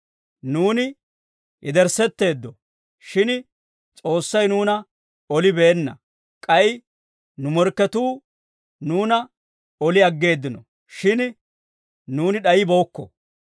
Nuuni yederssetteeddo; shin S'oossay nuuna olibeenna; k'ay nu morkketuu nuuna oli aggeeddino; shin nuuni d'ayibeykko.